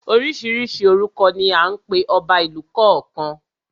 Oríṣiríṣi orúkọ ni à ń pe ọba ìlú kọ̀ọ̀kan.